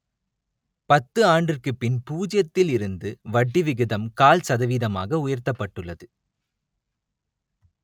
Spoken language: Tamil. பத்து ஆண்டிற்குப் பின் பூஜ்ஜியத்தில் இருந்து வட்டி விகிதம் கால் சதவீதமாக உயர்த்தப்பட்டுள்ளது